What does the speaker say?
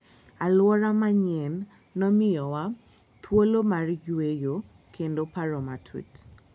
Alwora manyienno miyowa thuolo mar yueyo kendo paro matut.